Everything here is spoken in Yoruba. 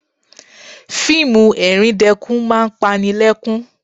Fíìmù ẹ̀ríndẹkún máa ń pani lẹ́kún